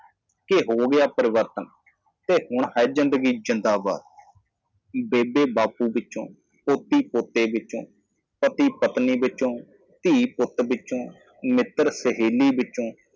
ਕੀ ਬਦਲ ਗਿਆ ਹੈ ਇਸ ਲਈ ਹੁਣ ਜ਼ਿੰਦਗੀ ਜੀਓ ਬੇਬੇ ਬਾਪੂ ਤੋਂ ਪੋਤਾ ਪੋਤੀ ਤੋਂ ਪਤੀ ਅਤੇ ਪਤਨੀ ਦੇ ਪੁੱਤਰ ਤੋਂ ਧੀ ਦੋਸਤਾਂ ਅਤੇ ਸਹੇਲੀਆਂ ਤੋਂ